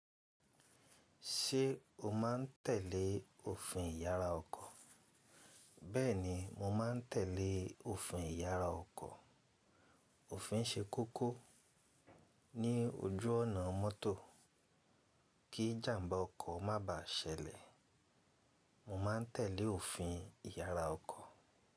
Ṣé o má ń tẹ̀lé òfin ìyára ọkọ̀? Bẹ́ẹ̀ni, mo má ń tẹ̀lé òfin ìyára ọkọ̀. Òfin ń ṣe kókó ní ojú ọ̀nà mọ́tò kí ìjàmbá ọkọ̀ má bàá ṣẹlẹ̀. Mo ma ń tẹ̀lé òfin ìyára ọkọ̀.